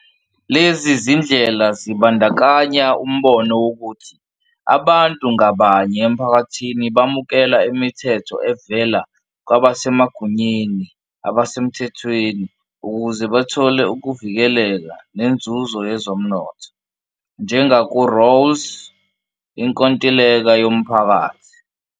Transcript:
Lezi zindlela zibandakanya umbono wokuthi abantu ngabanye emphakathini bamukela imithetho evela kwabasemagunyeni abasemthethweni ukuze bathole ukuvikeleka nenzuzo yezomnotho, njengaku-Rawls, inkontileka yomphakathi.